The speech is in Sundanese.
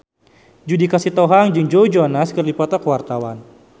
Judika Sitohang jeung Joe Jonas keur dipoto ku wartawan